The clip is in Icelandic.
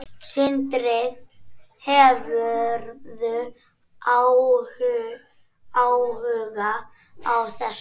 Sindri: Hefurðu áhuga á þessu?